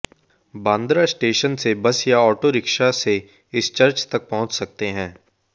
Bandra station से bus या auto rickshaw से इस चर्च तक पहुंच सकते हैं